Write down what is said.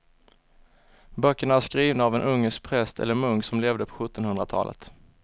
Böckerna är skrivna av en ungersk präst eller munk som levde på sjuttonhundratalet.